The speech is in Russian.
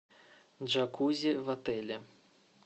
джакузи в отеле